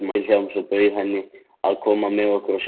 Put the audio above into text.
Vilhjálms og bauð henni að koma með okkur að sjá myndir